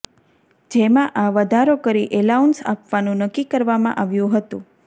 જેમાં આ વધારો કરી એલાઉન્સ આપવાનું નક્કી કરવામાં આવ્યું હતું